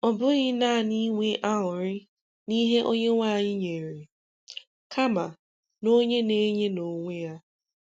Ọ bụghị naanị inwe aṅụrị n'ihe Onyenweanyị nyere, kama n'onye na-enye n'onwe Ya.